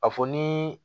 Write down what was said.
A fɔ ni